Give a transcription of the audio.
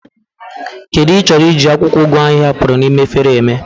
What do you intend to do with the ugu leave you remain in the bowl